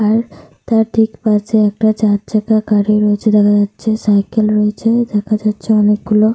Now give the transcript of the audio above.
আর তার ঠিক পাশে একটা চার চাকা গাড়ি রয়েছে দেখা যাচ্ছে। সাইকেল রয়েছে দেখা যাচ্ছে অনেকগুলো।